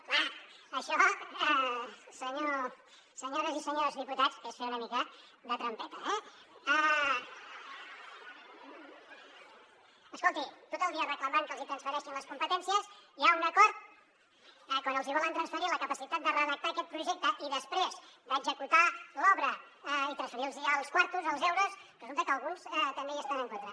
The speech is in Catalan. home això senyores i senyors diputats és fer una mica de trampeta eh escolti tot el dia reclamant que els hi transfereixin les competències hi ha un acord i quan els hi volen transferir la capacitat de redactar aquest projecte i després d’executar l’obra i transferir los els quartos els euros resulta que alguns també hi estan en contra